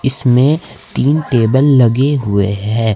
इसमें तीन टेबल लगे हुए हैं।